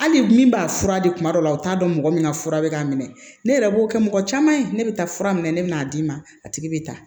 Hali min b'a fura di kuma dɔ la o t'a dɔn mɔgɔ min ka fura bɛ k'a minɛ ne yɛrɛ b'o kɛ mɔgɔ caman ye ne bɛ taa fura minɛ ne bɛ n'a d'i ma a tigi bɛ taa